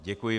Děkuji.